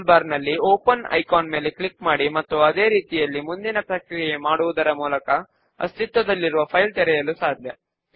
దానిని list of books to be returned by the member అని పిలుద్దాము